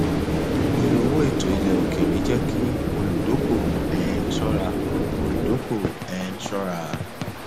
iye owó ètò ilẹ òkèèrè jẹ kí olùdókòwò um ṣọra olùdókòwò um ṣọra